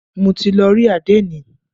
Mo ti lọ rí àdénì.